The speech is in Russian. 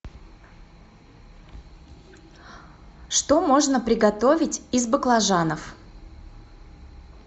что можно приготовить из баклажанов